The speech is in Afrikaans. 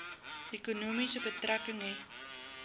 ekonomie betrekking hê